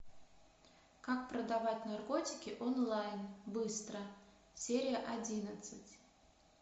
как продавать наркотики онлайн быстро серия одиннадцать